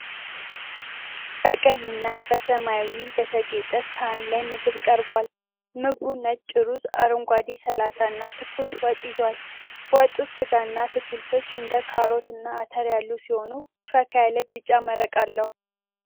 በቀይና በሰማያዊ በተጌጠ ሳህን ላይ ምግብ ቀርቧል። ምግቡ ነጭ ሩዝ፣ አረንጓዴ ሰላጣ እና ትኩስ ወጥ ይዟል። ወጡ ሥጋና አትክልቶች እንደ ካሮት እና አተር ያሉት ሲሆን ፈካ ያለ ቢጫ መረቅ አለው።